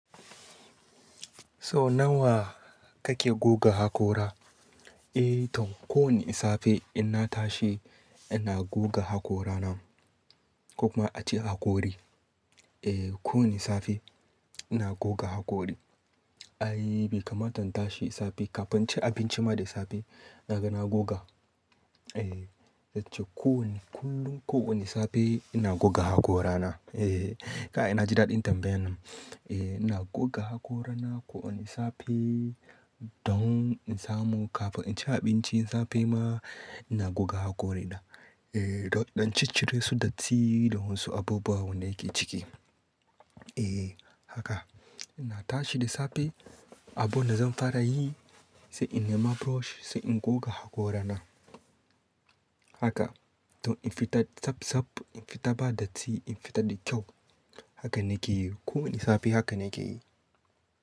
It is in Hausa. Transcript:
So nawa kake goga hakora? Eh, to kowanne safe in na tashi ina goga haƙora na ko kuma a ce hakori. Eh, kowane safe ina goga hakori. Ai, bai kamata in tashi safe kafin in ci abinci ma da safe naga na goga. Eh, zan ce kullum kowabne safe ina goga haƙora na. Eh, kai na ji daɗin tambayan nan. Eh, ina goga haƙora na kowanne safe dan in samu kafin in ci abinci safe ma ina goga haƙori na. Eh, dan in ɗan ciccire su datti da wasu abubuwa wanda yake ciki. Eh, haka ina tashi da safe, abunda zan fara yi sai in nema brush sai in goga haƙora na. Haka dan in fita tsaf-tsaf, in fita ba datti, in fita da kyau. Haka nake yi, kowanne safe haka nake yi.